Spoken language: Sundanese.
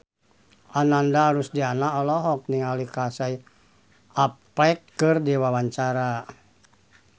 Ananda Rusdiana olohok ningali Casey Affleck keur diwawancara